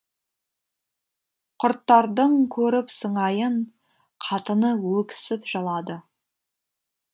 құрттардың көріп сыңайын қатыны өксіп жылады